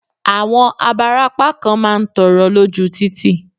Àwọn abarapá kan má ń tọrọ lóju títì.